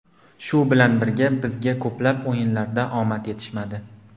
Shu bilan birga bizga ko‘plab o‘yinlarda omad yetishmadi.